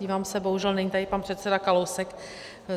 Dívám se, bohužel není tady pan předseda Kalousek.